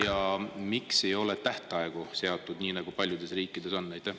… ja miks ei ole tähtaegu seatud, nii nagu paljudes riikides on?